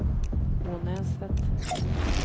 Ånäset